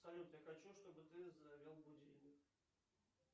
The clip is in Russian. салют я хочу чтобы ты завел будильник